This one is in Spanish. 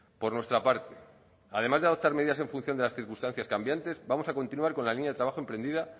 por nuestra parte además de adoptar medidas en función de las circunstancias cambiantes vamos a continuar con la línea de trabajo emprendida